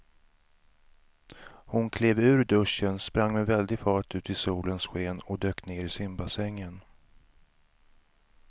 Hon klev ur duschen, sprang med väldig fart ut i solens sken och dök ner i simbassängen.